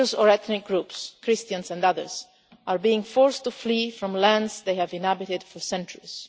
Religious or ethnic groups Christians and others are being forced to flee from lands they have inhabited for centuries.